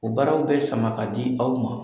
O baaraw bɛ sama k'a di aw ma.